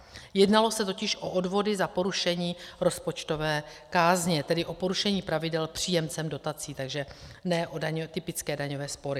Jednalo se totiž o odvody za porušení rozpočtové kázně, tedy o porušení pravidel příjemcem dotací, takže ne o typické daňové spory.